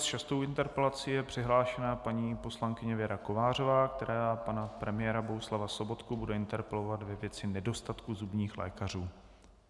S šestou interpelací je přihlášena paní poslankyně Věra Kovářová, která pana premiéra Bohuslava Sobotku bude interpelovat ve věci nedostatku zubních lékařů.